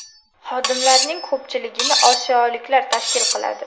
Xodimlarning ko‘pchiligini osiyoliklar tashkil qiladi.